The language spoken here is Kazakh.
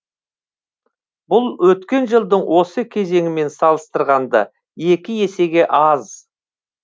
бұл өткен жылдың осы кезеңімен салыстырғанда екі есеге аз